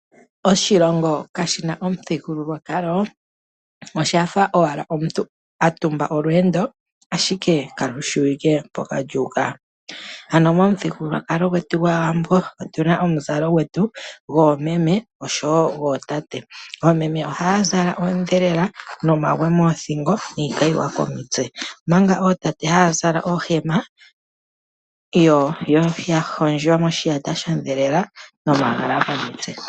Oshilongo kaashina omuthigululwakalo oshafa owala omuntu atumba olweendo ashike kalushiwike mpoka lwa u ka. Ano momuthigululwakalo gwetu gwAawambo otuna omuzalo gwetu goomeme osho wo gootate. Oomeme ohaya zala oondhelela nomagwe moothingo niikayiwa komitse, omanga ootate haya zala oohema ya hondjwa moshiyata shondhelela nomagala komitse.